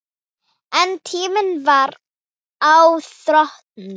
En tíminn var á þrotum.